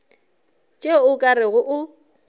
tšeo o ka rego o